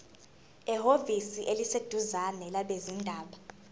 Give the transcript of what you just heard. ehhovisi eliseduzane labezindaba